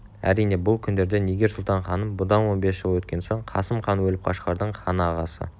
әрине бұл күндерде нигер-сұлтан-ханым бұдан он бес жыл өткен соң қасым хан өліп қашқардың ханы ағасы